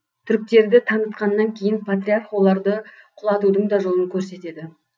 түріктерді танытқаннан кейін патриарх оларды құлатудың да жолын көрсетеді